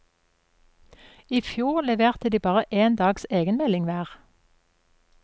I fjor leverte de bare én dags egenmelding hver.